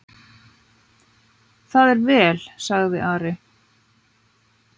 Það er vel, sagði Ari.